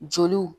Joliw